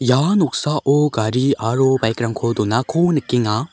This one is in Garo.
ia noksao gari aro baik rangko donako nikenga.